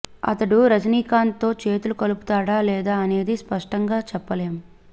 అతడు రజనీకాంత్ తో చేతులు కలుపుతాడా లేదా అనేది స్పష్టంగా చెప్పలేం